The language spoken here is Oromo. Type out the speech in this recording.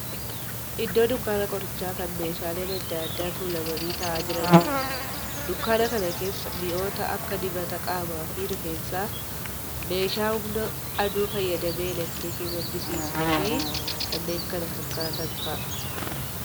Iddoo dunkaana qorichaa kan meeshaaleen adda addaa tuulamanii taa'aa jiraniidha. Dunkaana kana keessa mi'oota akka dibata qaamaa fi rifeensaa, meeshaa humna aduu fayyadamee elektirikii maddisiisuu fi kanneen kana fakkaatan fa'aadha.